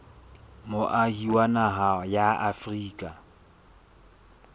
moahi wa naha ya afrika